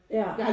Ja